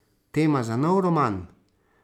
Tema za nov roman?